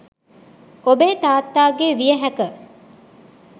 ඔබේ තාත්තා ගේ විය හැක